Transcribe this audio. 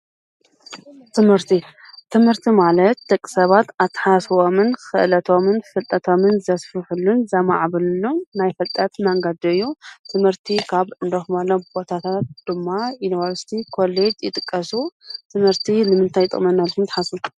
ትምህርቲ ፦ትምህርቲ ማለት ደቂ ሰባት አተሓሳስበኦም ክእለቶምን ፍልጠቶምን ዘስፍሕሉን ዘማዕብልሉን ናይ ፍልጠት መንገዲ እዪ። ትምህረቲ ካብ እነረክበሎም ቦታታት ድማ ዪኒቨርስቲ ፣ኮሌጅ ይጥቀሱ ።ትምህርቲ ንምንታይ ይጠቅምና ኢልኩም ዶ ትሓስቡ?